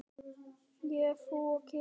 Ég, þú og kisi.